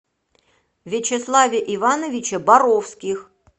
вячеславе ивановиче боровских